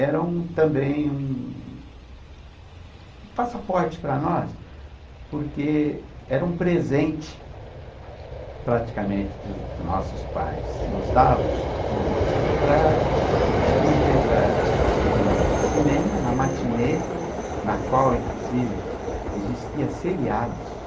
era um também um um passaporte para nós, porque era um presente, praticamente, que que nossos pais nos davam, ãh, para nos deixar ir no no cinema, na matinê, ãh, na qual, inclusive, existiam seriados.